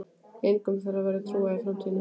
Engum þeirra verður trúað í framtíðinni.